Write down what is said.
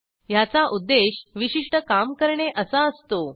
ह्याचा उद्देश विशिष्ट काम करणे असा असतो